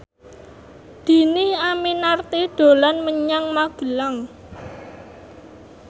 Dhini Aminarti dolan menyang Magelang